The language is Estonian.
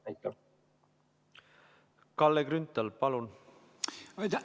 Kalle Grünthal, palun!